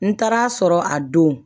N taara a sɔrɔ a don